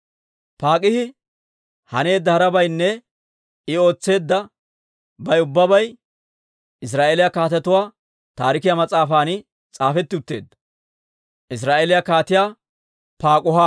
Pak'aahi haneedda harabaynne I ootseeddabay ubbay Israa'eeliyaa Kaatetuwaa Taarikiyaa mas'aafan s'aafetti utteedda.